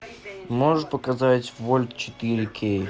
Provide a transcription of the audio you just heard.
можешь показать вольт четыре кей